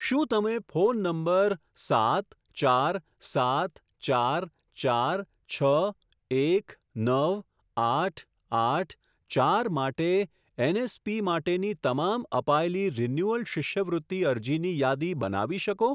શું તમે phone number સાત ચાર સાત ચાર ચાર છ એક નવ આઠ આઠ ચાર માટે એનએસપી માટેની તમામ અપાયેલી રિન્યુઅલ શિષ્યવૃત્તિ અરજીની યાદી બનાવી શકો?